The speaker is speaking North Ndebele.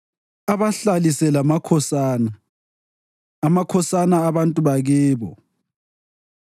abahlalise lamakhosana, amakhosana abantu bakibo.